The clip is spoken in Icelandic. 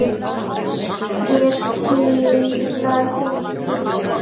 Ég skilaði mínu.